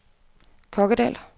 Kokkedal